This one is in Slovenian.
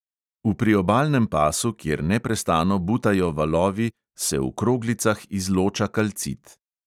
V priobalnem pasu, kjer neprestano butajo valovi, se v kroglicah izloča kalcit.